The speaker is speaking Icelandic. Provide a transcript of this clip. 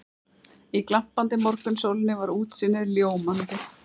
Í glampandi morgunsólinni var útsýnið ljómandi.